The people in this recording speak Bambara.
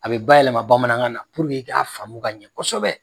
A bi bayɛlɛma bamanankan na, ka faamumu ka ɲɛ kosɛbɛ